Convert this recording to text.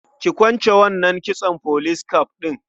Ki kwance wannan kitson police cap ɗin.